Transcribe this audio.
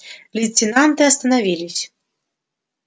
лейтенанты остановились